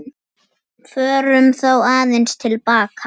Förum þá aðeins til baka.